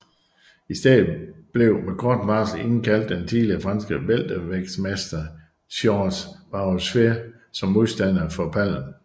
I stedet blev med kort varsel indkaldt den tidligere franske weltervægtsmester Georges Warusfel som modstander for Palm